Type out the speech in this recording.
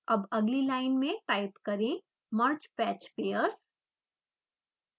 अब अगली लाइन में टाइप करें mergepatchpairs